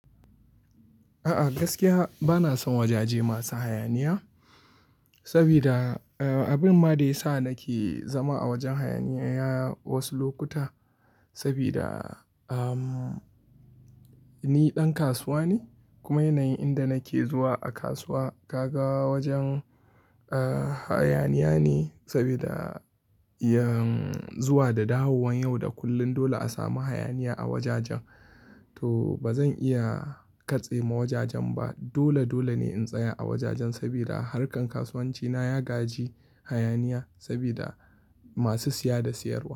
A'a, gaskiya bana son wajaje masu hayaniya saboda abin ma da ya sa nake zama a wajen hayaniya wasu lokuta saboda ni ɗan kasuwa ne kuma yanayin inda nake zuwa a kasuwa ka ga wajen hayaniya ne saboda zuwa da dawowan yau da kullum dole a samu hayaniya a wajajen. To ba zan iya katse ma wajajen ba. Dole dole ne in tsaya a wajajen saboda harkan kasuwanci na ya gaji hayaniya saboda masu siya da siyarwa.